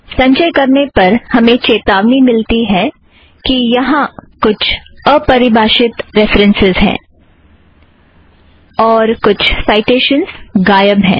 संचय करने पर हमें चेतावनी मिलती है कि यहाँ कुछ अपरिभाषित रेफ़रन्सस् हैं और कुछ साइटेशनस गायब है